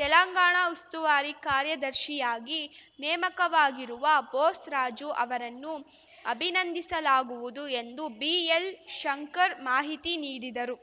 ತೆಲಂಗಾಣ ಉಸ್ತುವಾರಿ ಕಾರ್ಯದರ್ಶಿಯಾಗಿ ನೇಮಕವಾಗಿರುವ ಬೋಸ್‌ರಾಜು ಅವರನ್ನು ಅಭಿನಂದಿಸಲಾಗುವುದು ಎಂದು ಬಿಎಲ್‌ಶಂಕರ್‌ ಮಾಹಿತಿ ನೀಡಿದರು